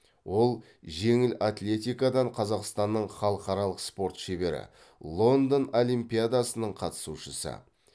ол жеңіл атлетикадан қазақстанның халықаралық спорт шебері лондон олимпиадасының қатысушысы